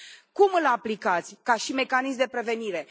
Cum îl aplicați ca mecanism de prevenire?